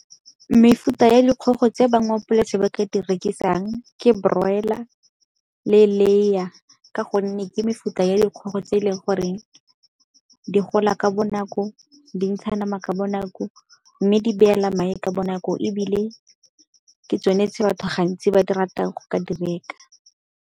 Mefuta ya dikgogo tse ba mo polase ba ka di rekisang ke broiler le layer ka gonne ke mefuta ya dikgogo tse e leng goreng di gola ka bonako, dintsha nama ka bonako mme di beela madi ka bonako ebile ke tsone tse batho gantsi ba di ratang go ka di reka.